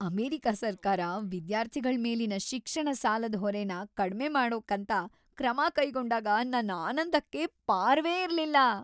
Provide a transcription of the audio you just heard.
America ಸರ್ಕಾರ ವಿದ್ಯಾರ್ಥಿಗಳ್ ಮೇಲಿನ ಶಿಕ್ಷಣ ಸಾಲದ್ ಹೊರೆನ ಕಡ್ಮೆ ಮಾಡೋಕಂತ ಕ್ರಮ ಕೈಗೊಂಡಾಗ ನನ್‌ ಆನಂದಕ್ಕೆ ಪಾರವೇ ಇರ್ಲಿಲ್ಲ.